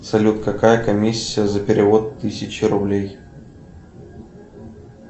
салют какая комиссия за перевод тысячи рублей